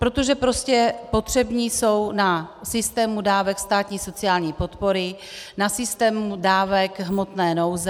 Protože prostě potřební jsou na systému dávek státní sociální podpory, na systému dávek hmotné nouze.